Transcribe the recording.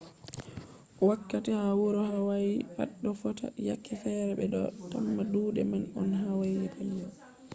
wakkati ha wuro hawayi pat ɗo fota yake fere ɓe ɗo tamma duuɗe man on hawayi petel